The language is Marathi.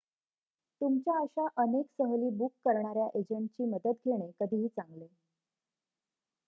तुमच्या अशा अनेक सहली बुक करणाऱ्या एजंटची मदत घेणे कधीही चांगले